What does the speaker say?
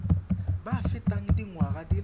ba fetang dingwaga di le